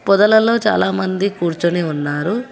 పొదలలో చాలా మంది కూర్చొని ఉన్నారు.